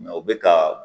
u bɛ ka